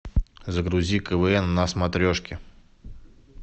загрузи квн на смотрешке